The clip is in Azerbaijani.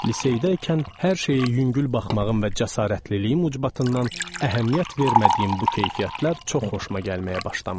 Liseydəykən hər şeyi yüngül baxmağın və cəsarətliliyim ucbatından əhəmiyyət vermədiyim bu keyfiyyətlər çox xoşuma gəlməyə başlamışdı.